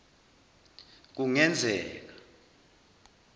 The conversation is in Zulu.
kungenzeka